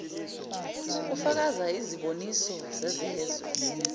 kufaka iziboniso zezezwe